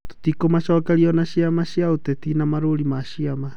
Tũtikũmacokeria ona ciama cia ũteti na Marũũri ma ciama.